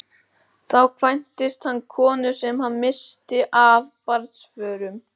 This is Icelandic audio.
Þá kvæntist hann konunni sem hann missti af barnsförum.